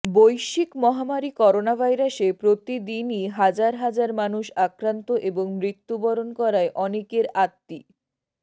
বৈশ্বিক মহামারি করোনাভাইরাসে প্রতিদিনই হাজার হাজার মানুষ আক্রান্ত এবং মৃত্যুবরণ করায় অনেকের আত্মী